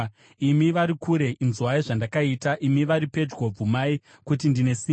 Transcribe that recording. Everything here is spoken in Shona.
Imi vari kure, inzwai zvandakaita; imi vari pedyo, bvumai kuti ndine simba!